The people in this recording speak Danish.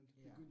Ja